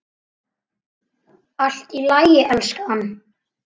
Allt í lagi, elskan.